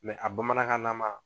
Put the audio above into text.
Mɛ a bamanankan la. ma